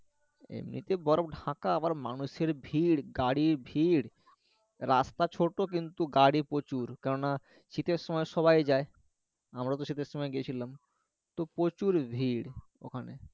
এমনিতে বরফে ঢাকা আবার মানুষের ভিড় গাড়ির ভিড় রাস্তা ছোট কিন্তু গাড়ি প্রচুর কেননা শীতের সময় সবাই যায় আমরা তো শীতের সময় গেছিলাম তো প্রচুর ভিড় ওখানে